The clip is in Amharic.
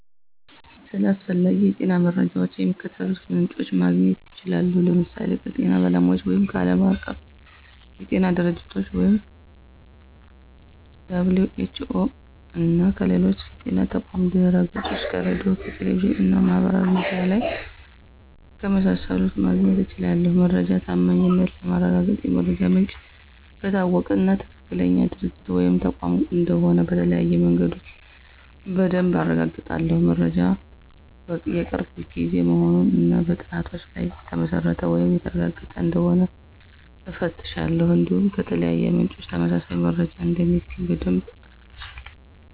ስለ አስፈላጊ የጤና መረጃዎች ከሚከተሉት ምንጮች ማግኘት እችላለሁ፦ ለምሳሌ ከጤና ባለሙያዎች ወይም ዓለም አቀፍ የጤና ድርጅቶች - (WHO)፣ እና ከሌሎች የጤና ተቋማት ድህረገጾች፣ ከሬዲዮ፣ ከቴሌቪዥን እና ማህበራዊ ሚዲያ ላይ ከመሳሰሉት ማግኘት እችላለሁ። የመረጃው ታማኝነት ለማረጋገጥ የመረጃው ምንጭ ከታወቀ እና ትክክለኛ ድርጅት ወይም ተቋም እንደሆነ በተለያዩ መንገዶች በደንብ አረጋግጣለሁ። መረጃው የቅርብ ጊዜ መሆኑን እና በጥናቶች ላይ የተመሰረተ ወይም የተረጋገጠ እንደሆነ እፈትሻለሁ። እንዲሁም ከተለያዩ ምንጮች ተመሳሳይ መረጃ እንደሚገኝ በደንብ እፈትሻለሁ።